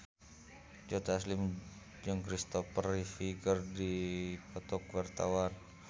Joe Taslim jeung Kristopher Reeve keur dipoto ku wartawan